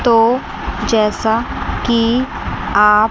तो जैसा कि आप--